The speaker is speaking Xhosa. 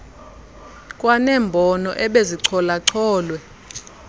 kwanembono ebezichola cholwe